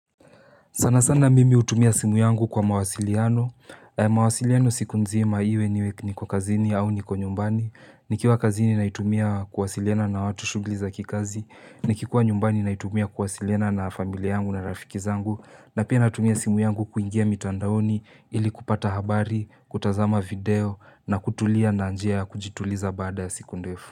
Sana sana mimi hutumia simu yangu kwa mawasiliano, mawasiliano siku nzima iwe niwe niko kazini au niko nyumbani, ni kiwa kazini naitumia kuwasiliana na watu shugliza kikazi, ni kikuwa nyumbani naitumia kuwasiliana na familia yangu na rafiki zangu, na pia natumia simu yangu kuingia mitandaoni ili kupata habari, kutazama video, na kutulia na njia ya kujituliza baada ya siku ndefu.